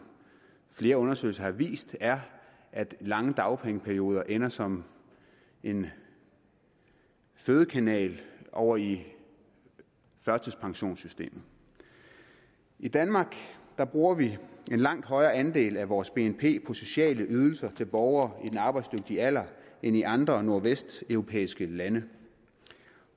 flere undersøgelser har vist er at lange dagpengeperioder ender som en fødekanal ovre i førtidspensionssystemet i danmark bruger vi en langt højere andel af vores bnp på sociale ydelser til borgere i den arbejdsdygtige alder end i andre nordvesteuropæiske lande